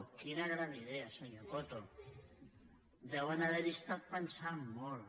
quina gran idea senyor coto deuen haver hi estat pensant molt